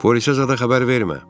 Polisə zada xəbər vermə.